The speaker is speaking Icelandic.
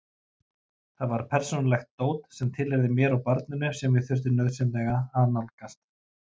Þar var persónulegt dót sem tilheyrði mér og barninu sem ég þurfti nauðsynlega að nálgast.